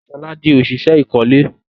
Shola dì òṣìṣẹ́ ìkọ́lé